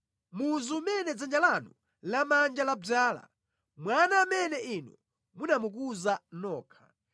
muzu umene dzanja lanu lamanja ladzala, mwana amene inu munamukuza nokha.